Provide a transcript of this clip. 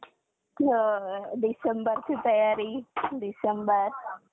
ते एकोणविसशे एकोनांशी हे सेन्सेक्सचे बीज वर्ष म्हणू म्हणून गणले जाते. भारतातील अर्थतंत्राच्या